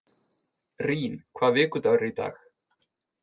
Rín, hvaða vikudagur er í dag?